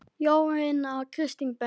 Jónína Kristín Berg.